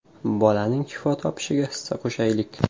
Bolaning shifo topishiga hissa qo‘shaylik!.